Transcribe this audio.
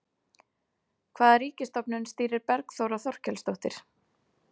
Hvaða ríkisstofnun stýrir Bergþóra Þorkelsdóttir?